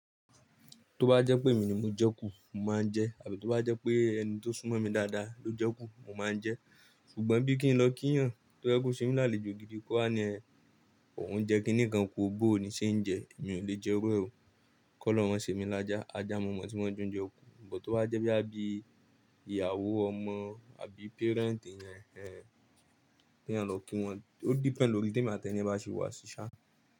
Tó bá jẹ́ pé èmi ni mo jẹ kú, mo máa ń jẹ, àbí tó bá jẹ́ pé ẹni tó súnmọ́ mi dáadáa ló jẹ kú, mo máa ń jẹ. Ṣùgbọ́n bí kí n lọ kí ènìyàn tó yẹ́ kọ̀ ṣé mi lálejò gidi kó wà ní ẹ, òun jẹ́ kíni kan ku o bóò ni ṣe ń jẹ, èmi ò lè jẹ iru e ó. Kọ́lọ̀hun ma ṣé mi lájà, ajá mọ̀ọ́mọ̀ tí maa n jẹ ounje kú. But tó bá jẹ́ bí a bí ìyàwó, ọmọ àbí parent eyan, ẹhehen kí ẹyan lọ kí wọn. Ó depend lórí ti emi atí ẹniyen bá ṣe wà ṣiṣá.